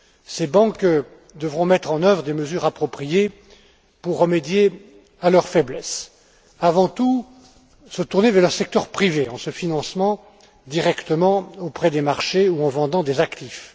Ces banques devront mettre en œuvre des mesures appropriées pour remédier à leurs faiblesses, se tourner avant tout vers le secteur privé en se finançant directement auprès des marchés ou en vendant des actifs.